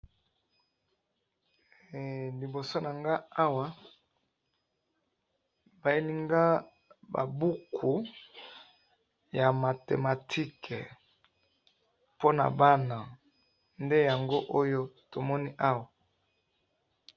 liboso na nanga awa bayelinga ba buku ya mathematique po na bana nde yango to moni awa